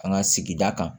An ka sigida kan